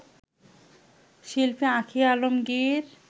শিল্পী আঁখি আলমগীর